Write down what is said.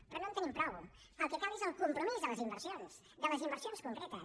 però no en tenim prou el que cal és el compromís de les inversions de les inversions concretes